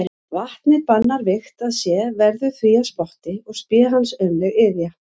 Vatnið bannar vígt að sé, verður því að spotti og spé hans aumleg iðja.